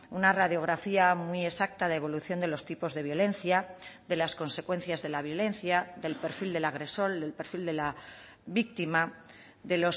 una radiografía muy exacta de evolución de los tipos de violencia de las consecuencias de la violencia del perfil del agresor del perfil de la víctima de